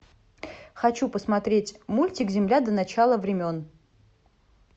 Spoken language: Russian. хочу посмотреть мультик земля до начала времен